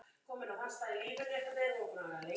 Svo æða þau af stað.